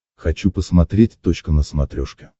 хочу посмотреть точка на смотрешке